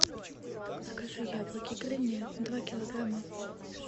закажи яблоки гренни два килограмма